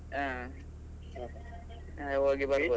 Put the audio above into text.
ಹಾ. ಹೋಗಿ .